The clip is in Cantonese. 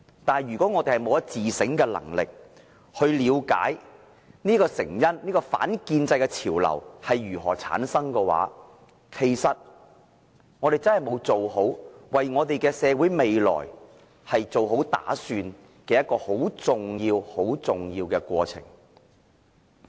但是，如果我們沒有自省的能力，沒法了解這些成因，沒法了解反建制的潮流如何產生，我們便真的是沒有為社會未來做好打算，認清這個十分重要的過程。